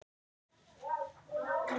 Óli kallar mig stundum Balta